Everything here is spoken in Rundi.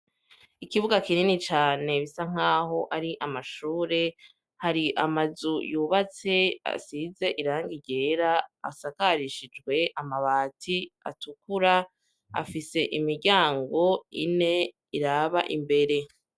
Ikibuga kinini cane bisa nk'aho ari amashure, hari amazu yubatse asize irangi ryera, asakarishijwe amabati atukura, afise imiryango ine iraba imbere.